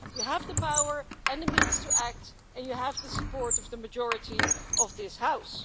You have the power and the means to act, and you have the support of the majority of this House.